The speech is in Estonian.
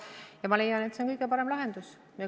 Ja ma leian, et see on kõige parem lahendus.